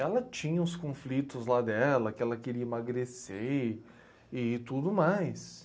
Ela tinha os conflitos lá dela, que ela queria emagrecer e, e tudo mais.